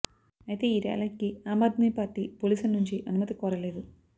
అయితే ఈ ర్యాలీకి ఆమ్ ఆద్మీ పార్టీ పోలీసుల నుంచి అనుమతి కోరలేదు